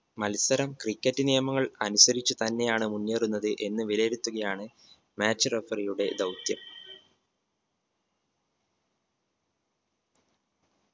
മത്സരം cricket നിയമങ്ങൾ അനുസരിച്ച് തന്നെയാണ് മുന്നേറുന്നത് എന്ന് വിലയിരുത്തുകയാണ് match referee യുടെ ദൗത്യം